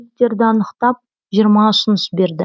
анықтап жиырма ұсыныс берді